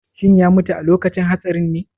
Shin ya mutu a lokacin hatsarinne?